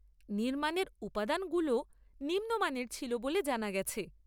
নির্মাণের উপাদানগুলোও নিম্নমানের ছিল বলে জানা গেছে।